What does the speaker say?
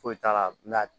Foyi t'a la